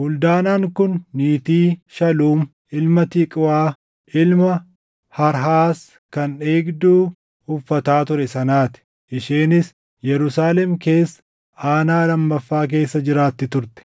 Huldaanaan kun niitii Shaluum ilma Tiqwaa, ilma Harhaas kan eegduu uffataa ture sanaa ti. Isheenis Yerusaalem keessa Aanaa Lammaffaa keessa jiraatti turte.